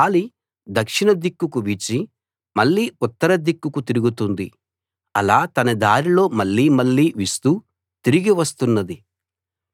గాలి దక్షిణ దిక్కుకు వీచి మళ్ళీ ఉత్తర దిక్కుకు తిరుగుతుంది అలా తన దారిలో మళ్ళీ మళ్ళీ వీస్తూ తిరిగి వస్తున్నది